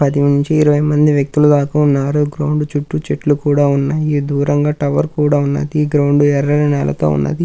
పది నుంచి ఇరవై మంది వ్యక్తులు దాక ఉన్నారు గ్రౌండ్ చుట్టూ చెట్లు కూడా ఉన్నాయి దూరంగా టవర్ కూడా ఉన్నాది గ్రౌండ్ ఎర్రని నేలతో ఉన్నాది. .>